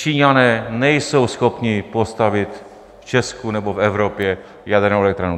Číňané nejsou schopni postavit v Česku nebo v Evropě jadernou elektrárnu.